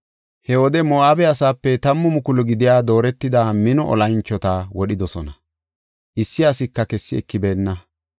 He wode Moo7abe asaape tammu mukulu gidiya dooretida mino olanchota wodhidosona; issi asika kessi ekibeenna.